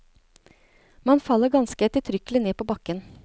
Man faller ganske eftertrykkelig ned på bakken.